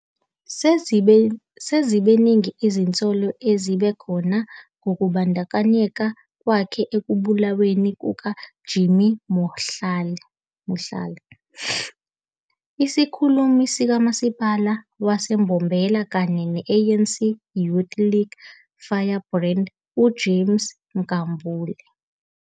Seziningi izinsolo esezibe khona ngokubandakanyeka kwakhe ekubulaweni kuka Jimmy Mohlala, isikhulumi sikamasipala wase Mbombela kanye ne ANC Youth League firebrand uJames Nkambule.